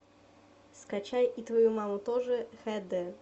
скачай и твою маму тоже хэ дэ